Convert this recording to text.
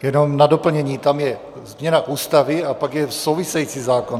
Jenom na doplnění, tam je změna Ústavy a pak je související zákon.